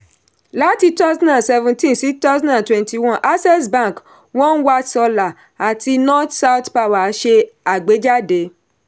láti 2017 sí 2021 access bank one watt solar àti north-south power ṣe agbèjáde.